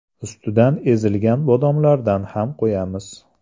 Ustidan ezilgan bodomlardan ham qo‘yamiz.